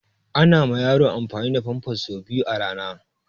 Ana ma yaro amfani da famfas sau biyu a rana